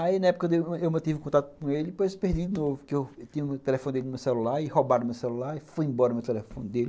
Aí, na época, eu mantive o contato com ele, e depois eu perdi, porque eu tinha o telefone dele no meu celular, e roubaram o meu celular, e foi embora o meu telefone dele.